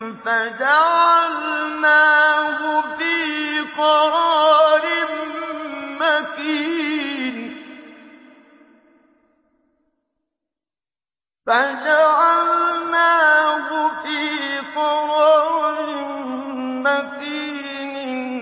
فَجَعَلْنَاهُ فِي قَرَارٍ مَّكِينٍ